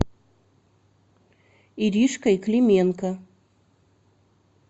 иришкой клименко